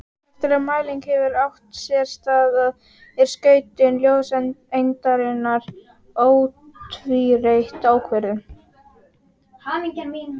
Eftir að mælingin hefur átt sér stað er skautun ljóseindarinnar ótvírætt ákvörðuð.